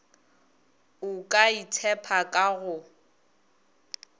o ka itshepa ka go